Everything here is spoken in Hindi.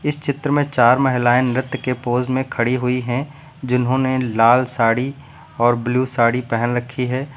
इस चित्र में चार महिलाएं नृत्य के पोज में खड़ी हुई हैं जिन्होंने लाल साड़ी और ब्लू साड़ी पहन रखी है।